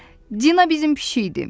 Dina bizim pişik idi.